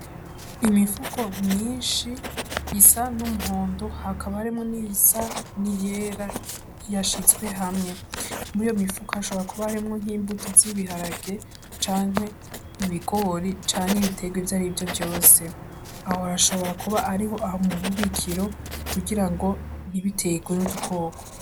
Imifuko myinshi isa n'umuhondo hakaba harimwo n'iyisa n'iyera yashizwe hamwe. Muriyo mifuko hashobora kuba harimwo nk'imbuto z'ibiharage canke ibigori canke ibiterwa ivyarivyo vyose. Aho hashobora kuba ariho mububikiro kugira ngo ntibiterwe n'udukoko.